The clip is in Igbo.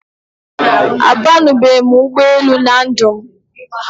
A banube m ụgbọ elù na ndụ m